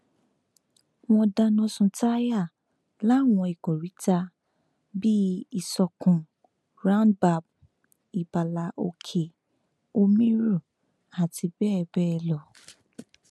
wọn dáná sun táyà láwọn ìkóríta bíi ìsọkun roundbab ibala òkè omiru àti bẹẹ bẹẹ lọ